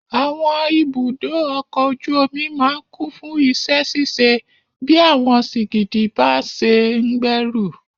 Àwọn ibùdó ọkọ̀ ojú omi máa kún fún iṣẹ́ ṣíṣe bí àwọn sìgìdì bá ṣe ń gbé ẹrù.